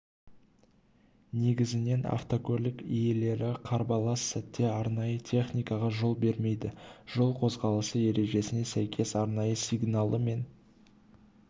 негізінен автокөлік иелері қарбалас сәтте арнайы техникаға жол бермейді жол қозғалысы ережесіне сәйкес арнайы сигналы мен